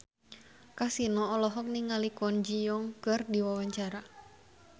Kasino olohok ningali Kwon Ji Yong keur diwawancara